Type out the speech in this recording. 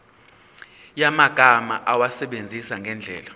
yamagama awasebenzise ngendlela